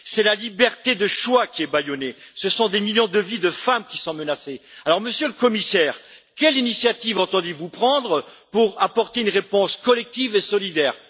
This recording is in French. C'est la liberté de choix qui est bâillonnée, ce sont des millions de vies de femmes qui sont menacées, alors Monsieur le Commissaire, quelle initiative entendez vous prendre pour apporter une réponse collective et solidaire?